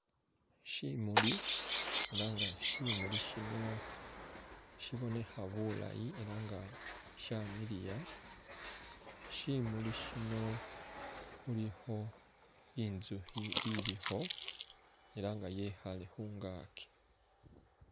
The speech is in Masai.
Shimuli, ela nga shimuli shino shibonekha bulaayi ela nga shamiliya, shimuli shino khulikho inzukhi ilikho ela nga yekhaale khungaki.